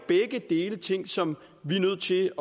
begge dele ting som vi er nødt til at